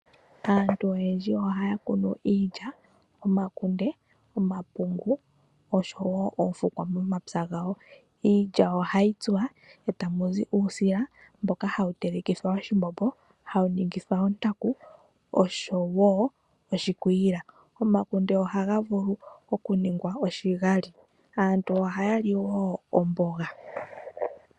Aantu oyendji ohaya kunu iilya, omakunde, omapungu oshowo oofukwa momapya gawo. Iilya ohayi kunwa etahi tsuwa tamu zi uusila mboka hawu telekithwa oshimbombo, hawu ningithwa ontaku oshowo oshikwiila. Omakunde ohaga vulu okuningwa oshigali. Aantu ohaya li wo omboga.